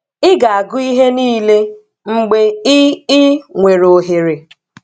Ị ga-agụ ihe niile mgbe I I nwere oghere.